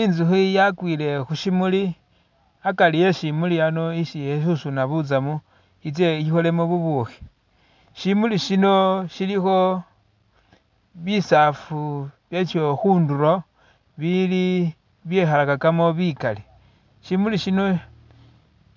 I'nzukhi yakwile khushimuli akari e'shimuli a'ano esi e'susuna butsamu i'tse i'kholemo bubukhi, shimuli shino shilikho bisaafu byasho khundulo bili e'byekhalakakamo bikali, shimuli shino